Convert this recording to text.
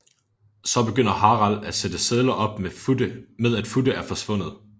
Så begynder Harald at sætte sedler op med at Futte er forsvundet